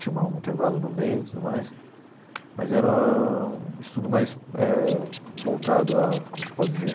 Tinha uma um intervalo no meio e tudo mais, mas era um estudo mais eh voltado a, como se pode dizer,